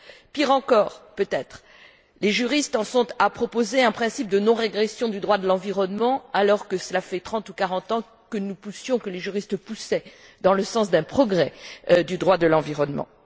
Pire encore, peut être, les juristes en sont à proposer un principe de non régression du droit de l'environnement, alors que cela fait trente ou quarante ans que nous poussions, que les mêmes juristes poussaient dans le sens d'un progrès du droit de l'environnement.